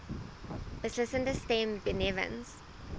beslissende stem benewens